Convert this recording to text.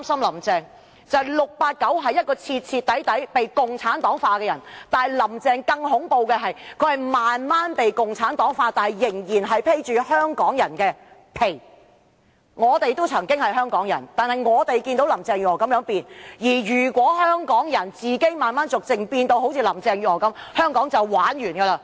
"689" 雖是徹頭徹尾被共產黨化的人，但"林鄭"更恐怖，她是逐漸被共產黨化，卻仍然"披着香港人的皮"，我們曾經同是香港人，亦見證了"林鄭"這種轉變，但假如所有香港人亦逐漸變得如林鄭月娥般的話，香港便完蛋了。